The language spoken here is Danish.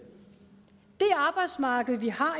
det arbejdsmarked vi har